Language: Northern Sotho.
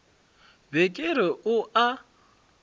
be ke re o a